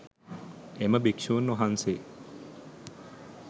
එම භික්‍ෂූන් වහන්සේ